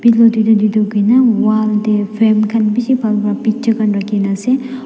wall tae fam khan bishi bhal pa picture khan rakhina ase--